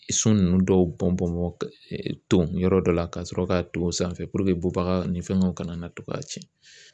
So ninnu dɔw bɔn bɔn tɔn yɔrɔ dɔ la , ka sɔrɔ k'a ton sanfɛ bɔbaga ni fɛnw kana na to k'a tiɲɛ